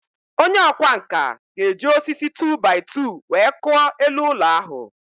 Onye ọkwá nkà ga-eji osisi 2-by-2 wee kụọ elu ụlọ ahụ